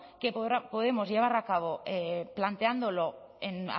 que podemos llevar a cabo planteándolo en